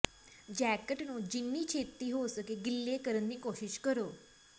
jacket ਨੂੰ ਜਿੰਨੀ ਛੇਤੀ ਹੋ ਸਕੇ ਗਿੱਲੇ ਕਰਨ ਦੀ ਕੋਸ਼ਿਸ਼ ਕਰੋ